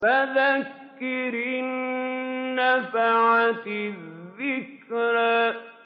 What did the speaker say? فَذَكِّرْ إِن نَّفَعَتِ الذِّكْرَىٰ